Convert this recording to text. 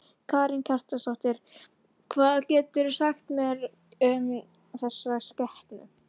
Karen Kjartansdóttir: Hvað geturðu sagt mér um þessa skepnu?